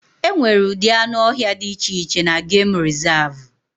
E nwere ụdị anụ ọhịa di iche iche na gemụ rizavụ.